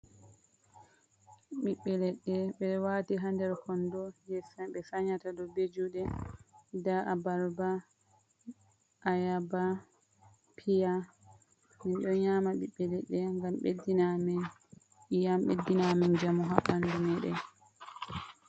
Ɓiɓɓe leɗɗe ɓe waati ha nder kondo jei ɓe sanyata ɗum be juuɗe, nda abarba, ayaba, piya. Min ɗo nyama ɓiɓɓeledde ngam beddina amin iyam, beddina Amin njamu haa ɓandu meɗen.